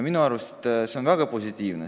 Minu arust on see väga positiivne.